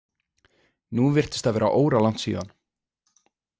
Nú virtist það vera óralangt síðan.